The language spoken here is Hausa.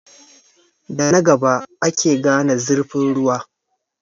Da na gaba ake gane zurfin ruwa.